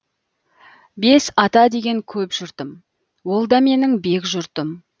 бес ата деген көп жұртым ол да менің бек жұртым